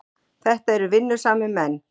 Þetta eru vinnusamir menn.